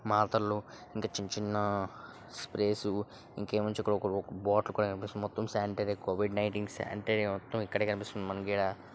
మాత్రలు ఇంకా చిన్న చిన్న స్ప్రేస్ ఇంకేం వచ్చి ఒక బాటిల్ కూడా కనిపిస్తుంది మొత్తం శానిటరీ కోవిడ్ నినేటీన్ అంటే మొత్తం ఇక్కడే కనిపిస్తుంది మనకు ఈడ.